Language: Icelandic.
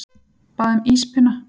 Bað um íspinna.